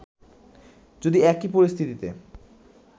যদি একই পরিস্থিতিতে